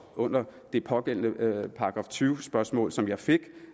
under det pågældende § tyve spørgsmål som jeg fik